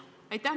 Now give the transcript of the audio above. Aitäh!